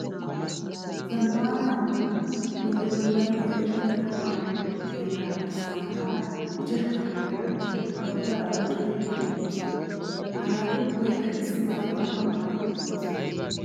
Zammaana hanotan bolli bollan keexettida tamaare keettaa dirssa mataara ichchashu tamaare naati dawutara oyiqqidi biiddi doosona. Ha naati ubbayikka issi mala maayyuwaa maayi uttidosona.